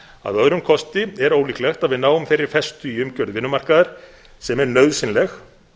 að öðrum kosti er ólíklegt að við náum þeirri festu í umgjörð vinnumarkaðar sem er nauðsynleg